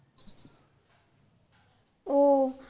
ও